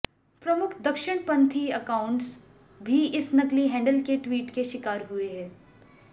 प्रमुख दक्षिणपंथी एकाउंट्स भी इस नकली हैंडल के ट्वीट के शिकार हुए हैं